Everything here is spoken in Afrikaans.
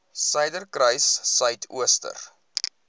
suiderkruissuidooster